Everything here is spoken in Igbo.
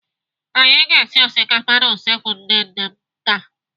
Anyị ga-esi osikapa n'usekwu nne nne m taa.